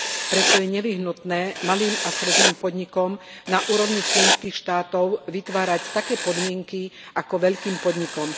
Preto je nevyhnutné malým a stredným podnikom na úrovni členských štátov vytvárať také podmienky ako veľkým podnikom.